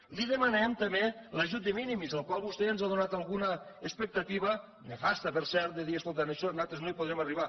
li demanem també l’ajut de minimis del qual vostè ja ens ha donat alguna expectativa nefasta per cert de dir escolta en això nosaltres no hi podrem arribar